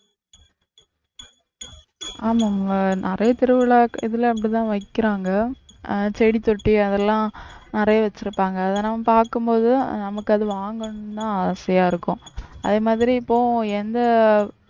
ஆமா ஆமா நிறைய திருவிழா இதுல அப்படித்தான் வைக்கிறாங்க அஹ் செடித்தொட்டி அதெல்லாம் நிறைய வச்சிருப்பாங்க அதை நம்ம பார்க்கும் போது நமக்கு அது வாங்கணும்னுதான் ஆசையா இருக்கும் அதே மாதிரி இப்போ எந்த